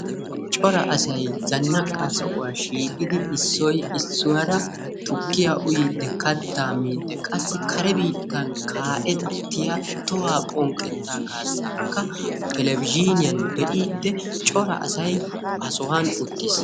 cora asay zannaqaa sohuwaa shiiqqidi issoy issuwaara tukkiyaa uyyiidi kattaa miiddi qassi kare biittan ka'ettiyaa tohuwaa phonqqettaa kaassaakka telebizhiniyaan bee'idi cora asay ha sohuwaan uttiis.